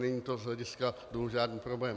Není to z hlediska dluhu žádný problém.